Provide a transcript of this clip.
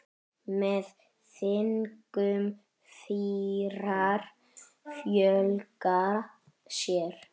Með þingum fýrar fjölga sér.